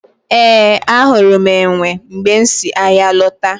Ee, ahụrụ m enwe mgbe m si ahịa lọta